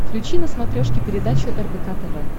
включи на смотрешке передачу рбк тв